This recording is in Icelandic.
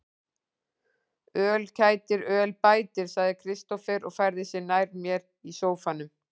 Öl kætir, öl bætir, sagði Kristófer og færði sig nær mér í sóffanum.